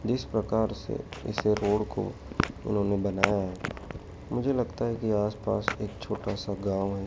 जिस प्रकार से इस रोड को उन्होंने बनाया है मुझे लगता है की आसपास एक छोटासा गांव है।